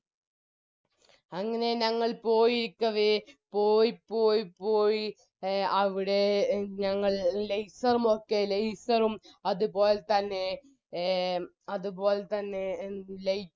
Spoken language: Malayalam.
അങ്ങനെ ഞങ്ങൾ പോയിരിക്കവേ പോയി പോയി പോയി അവിടെ എ ഞങ്ങൾ laser ഉം ഒക്കെ laser ഉം അത്പോലെതന്നെ എ അത്പോലെതന്നെ എന്ത്